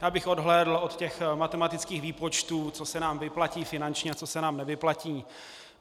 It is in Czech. Já bych odhlédl od těch matematických výpočtů, co se nám vyplatí finančně a co se nám nevyplatí.